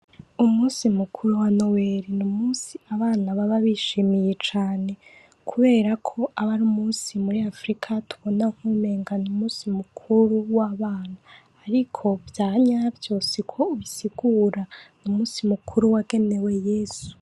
umunsi mukuru wa noweri numunsi abana baba bishimiye cane kuberako aba arumunsi muri afrika tubona nkuwumengo numunsi mukuru wabana ariko vyanavyo suko ubisigura numunsi mukuru wagenewe yesu